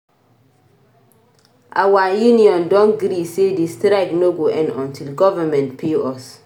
Our union don gree sey di strike no go end untill government pay us.